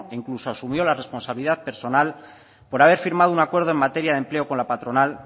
incluso asumió la responsabilidad personal por haber firmado un acuerdo en materia de empleo con la patronal